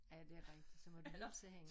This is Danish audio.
Er det rigtigt så må du hilse hende